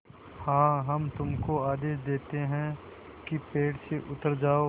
हाँ हम तुमको आदेश देते हैं कि पेड़ से उतर जाओ